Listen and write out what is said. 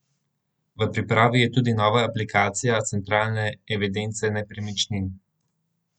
V pripravi je tudi nova aplikacija centralne evidence nepremičnin.